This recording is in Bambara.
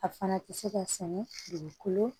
A fana ti se ka sɛnɛ dugukolo